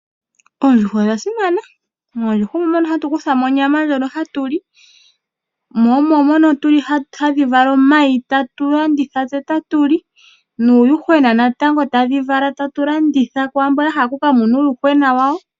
Oondjuhwa odha simana oko hatu kutha onyama ndjonp hatu li ohadhi vala omayi tatulanditha tse otatuli nuuyuhwena wo sho tadhi vala tse otalanditha kwaamboka ya hala okununa uuyuhwena wawo.